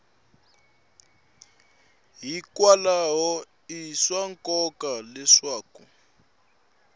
hikwalaho i swa nkoka leswaku